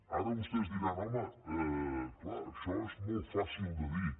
ara vostès diran home clar això és molt fàcil de dir